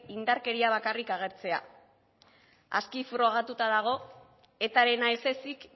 indarkeria bakarrik agertzea aski frogatuta dago etarena ez ezik